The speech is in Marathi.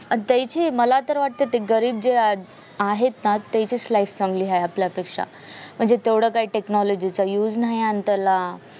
आता इथे मला तर वाटत हा लागली ना ते घरीच आहे ना त्यांचीच life चांगली आहे आपल्यापेक्षा म्हणजे तेवढं काय technology चा use नाही आणि त्याला